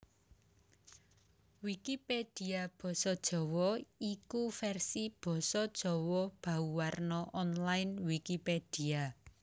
Wikipedia basa Jawa iku vèrsi basa Jawa bauwarna online Wikipedia